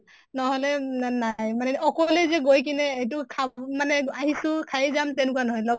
নহʼ; লে না নাই মানে অকলে যে গৈ কিনে এইটো খাব মানে আহিছো খাই যাম তেনেকুৱা নহয়।